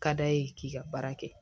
Ka d'a ye k'i ka baara kɛ